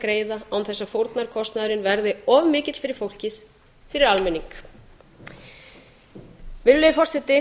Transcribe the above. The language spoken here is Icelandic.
greiða án þess að fórnarkostnaðurinn verði of mikill fyrir fólkið fyrir almenning virðulegi forseti